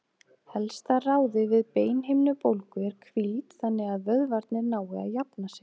Helsta ráðið við beinhimnubólgu er hvíld þannig að vöðvarnir nái að jafna sig.